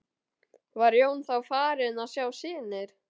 Var Jón þá farinn að sjá sýnir.